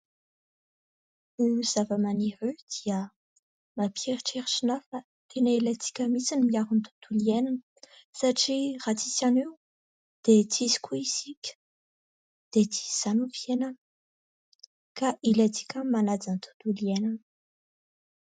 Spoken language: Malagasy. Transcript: Io zavamaniry io dia mampieritreritra anahy fa tena ilaintsika mihitsy miaro ny tontolo iainana satria raha tsy misy an'io dia tsy misy koa isika dia tsy misy izany ny fiainana ka ilaintsika ny manaja ny tontolo iainana.